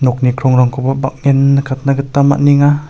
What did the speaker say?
nokni krongrangkoba bang·en nikatna gita man·enga.